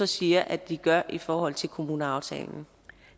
siger at de gør i forhold til kommuneaftalen